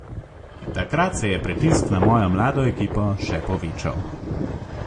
Takrat se je pritisk na mojo mlado ekipo še povečal.